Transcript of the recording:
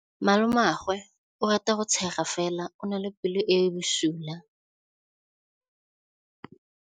Malomagwe o rata go tshega fela o na le pelo e e bosula.